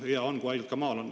Hea on, kui haigla ka maal on.